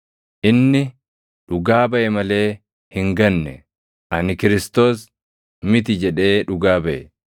Inni dhugaa baʼe malee hin ganne; “Ani Kiristoos + 1:20 yookaan Masiihicha miti” jedhee dhugaa baʼe.